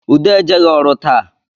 Ude ejeghi ọrụ taa